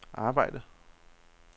arbejde